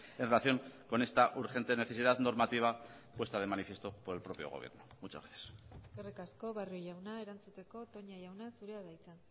en relación con esta urgente necesidad normativa puesta de manifiesto por el propio gobierno muchas gracias eskerrik asko barrio jauna erantzuteko toña jauna zurea da hitza